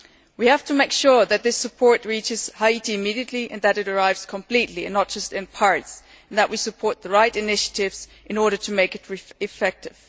We have to make sure that this support reaches Haiti immediately, that it arrives in full and not just in part, and that we support the right initiatives in order to make it effective.